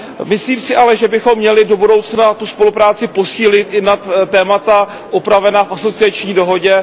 Myslím si ale, že bychom měli do budoucna tu spolupráci posílit i nad témata upravena v asociační dohodě.